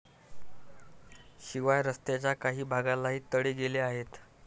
शिवाय रस्त्याच्या काही भागालाही तडे गेले आहेत.